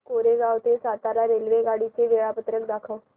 कोरेगाव ते सातारा रेल्वेगाडी चे वेळापत्रक दाखव